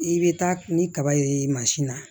I bɛ taa ni kaba ye mansin na